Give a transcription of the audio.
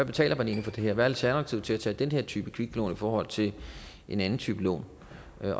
betaler for det her hvad alternativet er til at tage den her type kviklån i forhold til en anden type lån